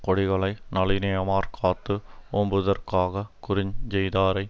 குடிகளை நலினியமாற் காத்து ஓம்புதற்காகக் குற்றஞ் செய்தாரை